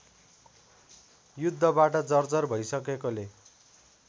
युद्धबाट जर्जर भैसकेकोले